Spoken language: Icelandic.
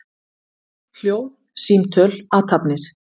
Hljóð, símtöl, athafnir.